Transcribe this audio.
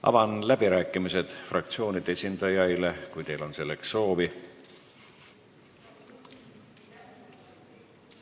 Avan läbirääkimised fraktsioonide esindajaile, kui teil on selleks soovi.